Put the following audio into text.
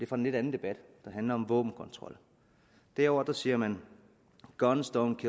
fra en lidt anden debat der handler om våbenkontrol derovre siger man guns dont